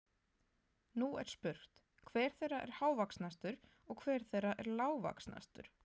Nú er spurt, hver þeirra er hávaxnastur og hver þeirra er lágvaxnastur?